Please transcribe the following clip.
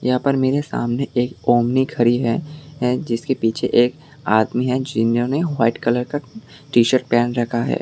यहां पर मेरे सामने एक ओमनी खड़ी है जिसके पीछे एक आदमी है जिन्होंने व्हाइट कलर का टी शर्ट पहन रखा है।